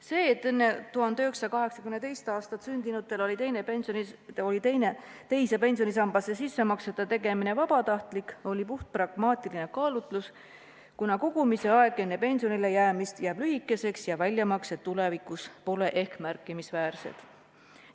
See, et enne 1982. aastat sündinutel oli teise pensionisambasse sissemaksete tegemine vabatahtlik, oli puhtpragmaatiline kaalutlus, kuna kogumise aeg enne pensionile jäämist jääb lühikeseks ja väljamaksed tulevikus pole ehk märkimisväärsed.